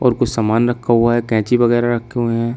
और कुछ सामान रखा हुआ है कैंची वगैरा रखे हुए हैं।